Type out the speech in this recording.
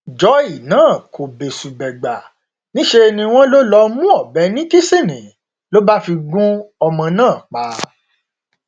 joy náà kò bẹsùbẹgbà níṣẹ ni wọn lọ mú ọbẹ ní kìsinni ló bá fi gún ọmọ náà pa